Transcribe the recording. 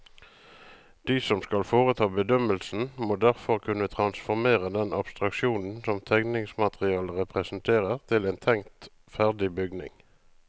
De som skal foreta bedømmelsen, må derfor kunne transformere den abstraksjonen som tegningsmaterialet representerer til en tenkt ferdig bygning.